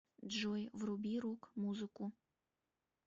джой вруби рок музыку